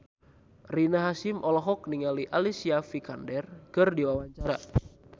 Rina Hasyim olohok ningali Alicia Vikander keur diwawancara